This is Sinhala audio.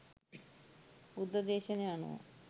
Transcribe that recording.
බුද්ධ දේශනය අනුව